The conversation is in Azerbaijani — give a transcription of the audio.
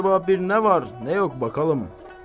Əcaba bir nə var, nə yox, baxalım.